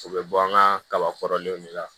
U bɛ bɔ an ka kaba kɔrɔlenw de la